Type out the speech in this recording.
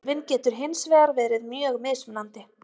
þörfin getur hins vegar verið mjög mismunandi